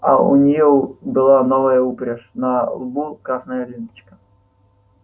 а у неё была новая упряжь на лбу красная ленточка